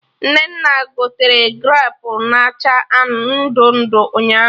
Nnenna gotere grapu na acha ndụ ndụ ụnyaahụ